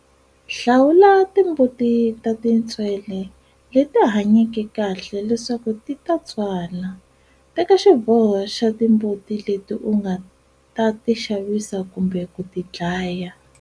Hlawula timbuti ta tintswele leti hanyeke kahle leswaku ti ta tswala. Teka xiboho xa timbuti leti u nga ta tixavisa kumbe ku tidlaya.